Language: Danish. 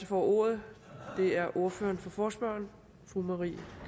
får ordet er ordføreren for forespørgerne fru marie